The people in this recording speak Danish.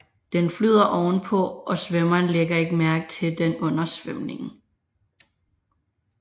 Den flyder ovenpå og svømmeren ligger ikke mærke til den under svømningen